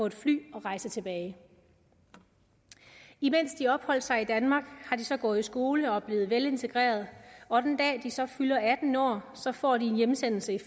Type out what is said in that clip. et fly og rejse tilbage imens de opholdt sig i danmark har de så gået i skole og er blevet velintegreret og den dag de så fylder atten år får de en hjemsendelse